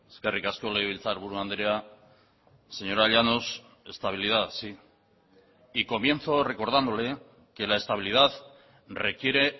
eskerrik asko legebiltzarburu andrea señora llanos estabilidad sí y comienzo recordándole que la estabilidad requiere